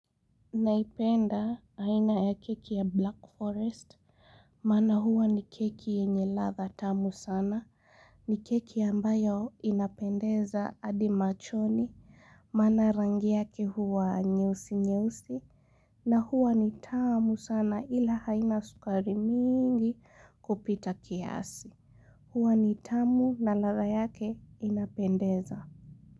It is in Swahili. Naipenda aina ya keki ya Black Forest, maana huwa ni keki yenye ladha tamu sana, ni keki ambayo inapendeza hadi machoni, maana rangi yake huwa nyeusi nyeusi, na huwa ni tamu sana ila haina sukari nyingi kupita kiasi. Huwa ni tamu na ladha yake inapendeza.